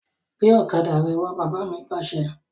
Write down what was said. Gbe ọ̀kadà rẹ wà! Bàbá mi Pàṣẹ!